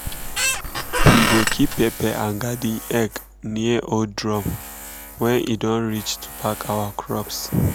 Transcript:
we go keep pepper and garden egg near old drum when e don reach to pack our crops.